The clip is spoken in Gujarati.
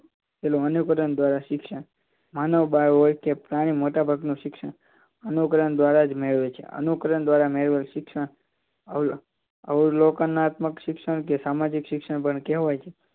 પહેલા અનુકરણ દ્વારા શિક્ષણ માનવ બાળ હોય કે પ્રાણી મોટાભાગનું શિક્ષણ અનુકરણ દ્વારા જ મેળવે છે અનુકરણ દ્વારા મેળવેલ શિક્ષણ અવલોન કમક શિક્ષણ અથવા તો સામાજિક શિક્ષણ પણ કહેવાય છે